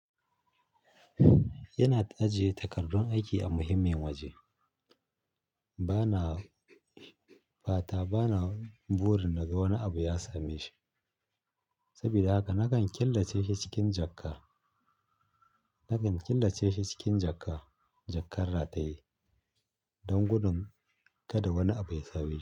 Ina ajiye takardun aiki a muhimmin waje. Ba na, ba ta, ba na burin na ga wani abu ya same shi. Sabida haka nakan killace shi cikin jakka, nakan killace shi cikin jakka, jakkar rataye don gudun kada wani abu ya same shi.